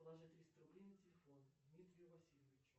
положи триста рублей на телефон дмитрию васильевичу